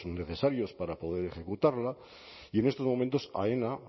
necesarios para poder ejecutarlo y en estos momentos aena